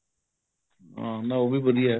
ਨਾ ਉਹ ਵੀ ਵਧੀਆ